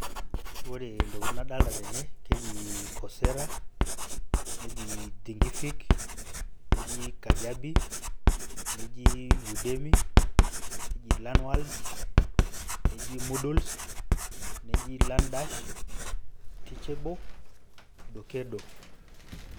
Ore ntokiting nadolta tene keji Coursera, neji Thinkific, neji Udemi, neji Lanwad, neji Muduls, neji Larndash, Teachable, Dokedo.